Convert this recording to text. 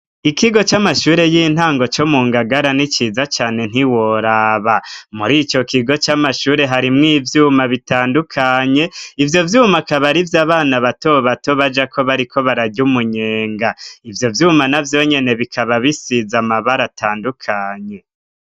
Ikigo c'amashure y'intango co mu ngagara n'iciza cane ntiworaba muri ico kigo c'amashure harimwo ivyuma bitandukanye ivyo vyuma kabarivye abana bato bato baja ko bari ko barajya umunyenga ibyo vyuma na byonyene bikaba bisiza amabara atandukanye.